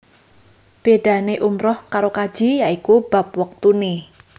Bédané umrah karo kaji ya iku bab wektuné